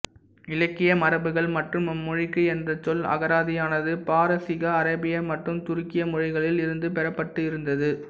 இலக்கிய மரபுகள் மற்றும் அம்மொழிக்கு என்ற சொல் அகராதியானது பாரசீக அரேபிய மற்றும் துருக்கிய மொழிகளில் இருந்து பெறப்பட்டு இருந்தது